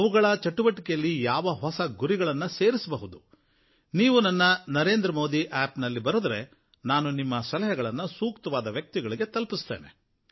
ಅವುಗಳ ಚಟುವಟಿಕೆಗಳಿಗೆ ಯಾವ ಹೊಸ ಗುರಿಗಳನ್ನು ಸೇರಿಸಬಹುದು ನೀವು ನನ್ನ ನರೇಂದ್ರ ಮೋದಿ ಆಪ್ ನಲ್ಲಿ ಬರೆದರೆ ನಾನು ನಿಮ್ಮ ಸಲಹೆಗಳನ್ನು ಸೂಕ್ತವಾದ ವ್ಯಕ್ತಿಗಳಿಗೆ ತಲುಪಿಸ್ತೇನೆ